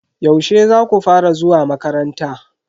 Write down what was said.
Yaushe zaku fara zuwa makaranta?